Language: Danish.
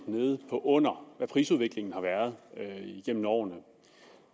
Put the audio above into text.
nede på under hvad prisudviklingen har været igennem årene